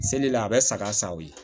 Selila a bɛ saga sa sa o ye